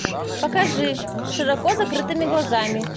покажи с широко закрытыми глазами